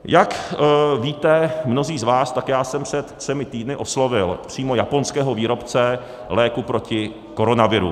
Jak víte mnozí z vás, tak já jsem před třemi týdny oslovil přímo japonského výrobce léku proti koronaviru.